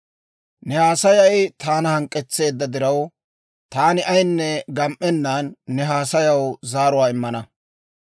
«Ne haasayay taana hank'k'etseedda diraw, taani ayinne gam"ennan ne haasayaw zaaruwaa immana.